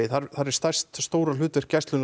er stærsta hlutverk gæslunnar